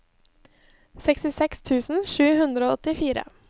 sekstiseks tusen sju hundre og åttifire